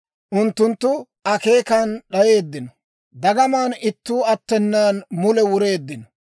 Unttunttu akeekenan d'ayeeddino; dagamaan ittuu attenan mule wureeddino.